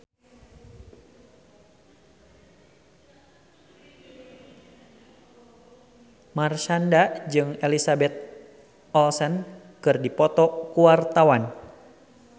Marshanda jeung Elizabeth Olsen keur dipoto ku wartawan